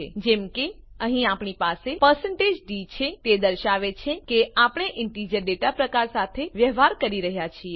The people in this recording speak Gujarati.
જેમ કે અહીં આપણી પાસે d છે તે દર્શાવે છે કે આપણે ઈંટીજર ડેટા પ્રકાર સાથે વ્યવહાર કરી રહ્યા છીએ